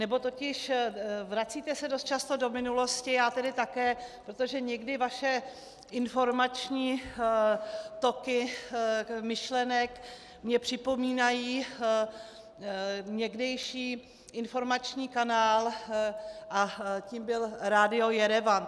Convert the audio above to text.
Ono totiž, vracíte se dost často do minulosti, já tedy také, protože někdy vaše informační toky myšlenek mi připomínají někdejší informační kanál a tím byl Radio Jerevan.